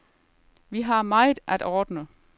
Vi har meget at ordne.